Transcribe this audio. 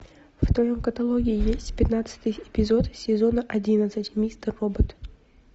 в твоем каталоге есть пятнадцатый эпизод сезона одиннадцать мистер робот